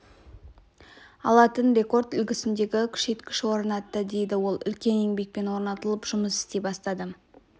алатын рекорд үлгісіндегі күшейткіш орнатты дейді ол үлкен еңбекпен орнатылып жұмыс істей бастады